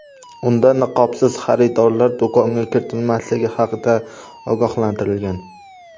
Unda niqobsiz xaridorlar do‘konga kiritilmasligi haqida ogohlantirilgan.